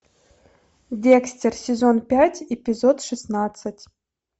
декстер сезон пять эпизод шестнадцать